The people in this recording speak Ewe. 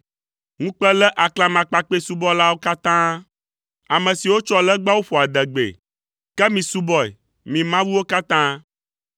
Ŋukpe lé aklamakpakpɛsubɔlawo katã, ame siwo tsɔa legbawo ƒoa adegbee, ke misubɔe, mi mawuwo katã!